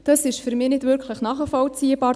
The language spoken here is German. Das ist für mich nicht wirklich nachvollziehbar.